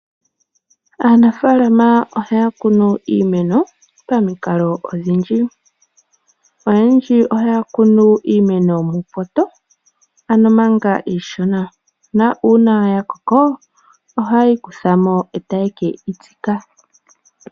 Aanafaalama ohaya kunu iimeno pamikalo odhindji. Oyendji ohaya kunu iimeno muupoto ano manga iishona na uuna yakoko ohaye yikuthamo etaye keyitsika.